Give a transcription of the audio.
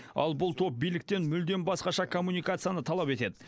ал бұл топ биліктен мүлдем басқаша коммуникацияны талап етеді